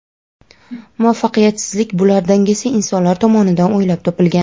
muvaffaqiyatsizlik bular dangasa insonlar tomonidan o‘ylab topilgan.